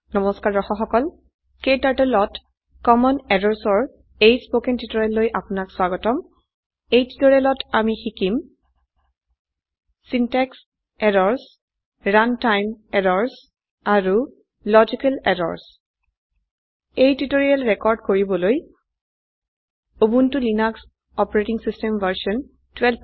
নমস্কাৰ দৰ্শক সকল KTurtleত কমন Errorsৰ এই স্পকেন টিউটোৰিয়েললৈ আপোনাক স্বাগতম এই টিউটোৰিয়েলত আমি শিকিম চিন্টেক্স এৰৰ্ছ ৰাণ্টাইম errorsআৰু লজিকেল এৰৰ্ছ এই টিউটোৰিয়েল ৰেকৰ্ড কৰিবলৈ উবুনটো লিনাস অচ ভাৰ্চন 1204